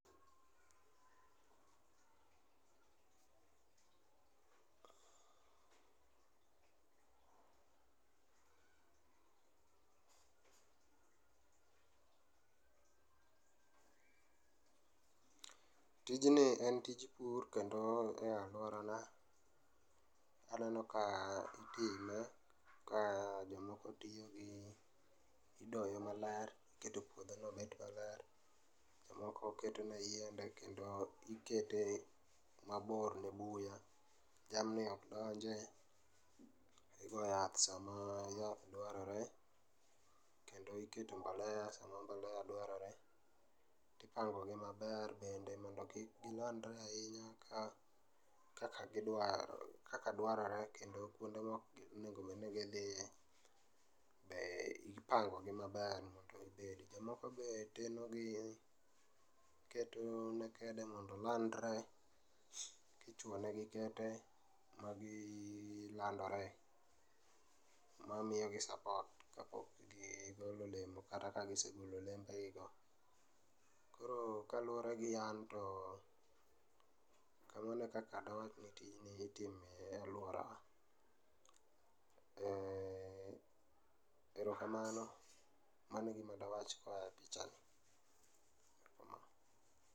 tijni en tij pur kendo e alworana aneno ka itime ka jomoko tiyo gi, idoye maler, iketo puodhono bed maler, jomoko ketone yiende kendo ikete mabor ne buya. Jamni ok donje, igo yath sama yath dwarore kendo iketo mbolea sama mbolea dwarore, ipangogi maber bende mondo gilandre ahinya kaka dwarore kendo kwonde mok onego obedni gidhie be ipangogi maber mondo gibedi. Jomoko be tenogi, iketone kede mondo olandre, kichwo negi kete magilandore, mamiyogi support kapok gigolo olemo kata kagisegolo olembegigo. koro kaluwore gi an, to kamano e kaka dawach ni tijni itimo e alworawa. Erokamano, mano e gima dawach koa epichani.